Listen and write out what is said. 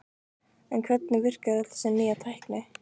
En hvernig virkar öll þessi nýja tækni?